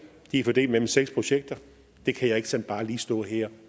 de er fordelt mellem seks projekter det kan jeg ikke sådan bare lige stå her